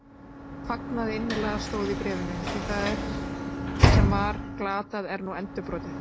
Fagnaðu innilega, stóð í bréfinu, því það sem var glatað er nú endurborið